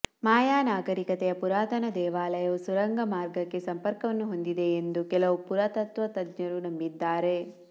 ಮಾಯಾ ನಾಗರೀಕತೆಯ ಪುರಾತನ ದೇವಾಲಯವು ಸುರಂಗ ಮಾರ್ಗಕ್ಕೆ ಸಂಪರ್ಕವನ್ನು ಹೊಂದಿದೆಯೆಂದು ಕೆಲವು ಪುರಾತತ್ವ ತಜ್ಞರು ನಂಬಿದ್ದಾರೆ